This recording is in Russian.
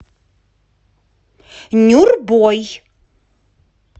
нюрбой